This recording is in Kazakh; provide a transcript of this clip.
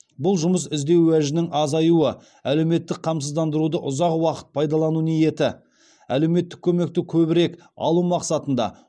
бұл жұмыс іздеу уәжінің азаюы әлеуметтік қамсыздандыруды ұзақ уақыт пайдалану ниеті әлеуметтік көмекті көбірек алу мақсатында